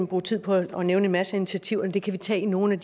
bruge tid på at nævne en masse initiativer men det kan vi tage i nogle